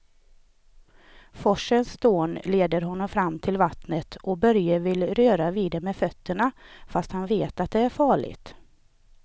Forsens dån leder honom fram till vattnet och Börje vill röra vid det med fötterna, fast han vet att det är farligt.